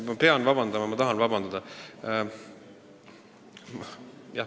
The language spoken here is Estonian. Ma pean vabandama, ma tahan vabandada ...